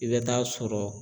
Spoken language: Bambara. I bɛ taa sɔrɔ.